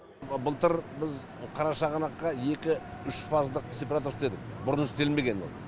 былтыр біз қарашығанаққа екі үш фазалы сепараторлар істедік бұрын істелмеген ол